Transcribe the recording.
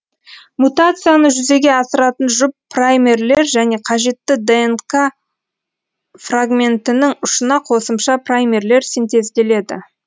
мутацияны жүзеге асыратын жұп праймерлер және қажетті днқ фрагментінің ұшына қосымша праймерлер синтезделеді